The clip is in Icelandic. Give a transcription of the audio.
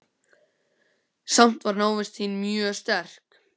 Samt var návist þín mjög sterk.